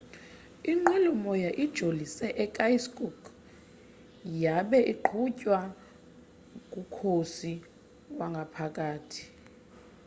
inqwelomoya ijolise e-irkutsk yabe iqhutywa ngukhosi wangaphakathi